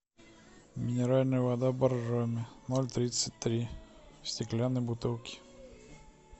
минеральная вода боржоми ноль тридцать три в стеклянной бутылке